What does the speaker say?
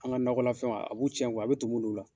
An ka nakɔla fɛnw, a b'u cɛn kuwa , a bɛ tumu don u la.